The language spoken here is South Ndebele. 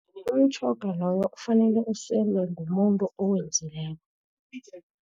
Umtjhoga loyo kufanele uselwe ngumuntu owenzileko.